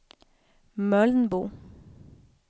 Mölnbo